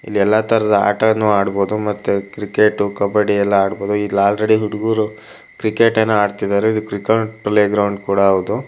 ಇಲ್ಲಿ ಎಲ್ಲ ತರಹದ ಆಟನು ಆಡ್ಬಹುದು ಮತ್ತೆ ಕ್ರಿಕೆಟ್ ಕಬ್ಬಡ್ಡಿ ಎಲ್ಲ ಆಡ್ಬಹುದು ಇಲ್ಲಿ ಆಗಲೇ ಕ್ರಿಕೆಟ್ ಆಡ್ತಿದ್ದಾರೆ. ಇದು ಕ್ರಿಕೆಟ್ ಪ್ಲೇ ಗ್ರೌಂಡ್ ಕೂಡ ಹೌದು.